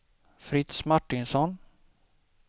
Fritz Martinsson